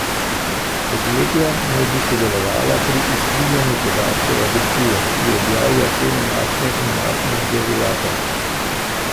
Podjetja naj bi sodelovala pri izkrivljanju podatkov agencije, ki objavlja cene naftne in naftnih derivatov.